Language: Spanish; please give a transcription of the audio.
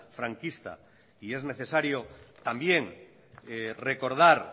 franquista y es necesario también recordar